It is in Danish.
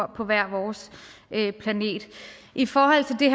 på hver vores planet i forhold til det